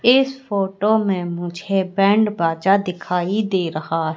इस फोटो में मुझे बैंड बाजा दिखाई दे रहा--